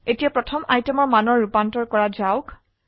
এতিয়া প্ৰথম আইটেমৰ মানৰ ৰুপান্তৰ কৰা যাওক